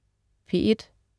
P1: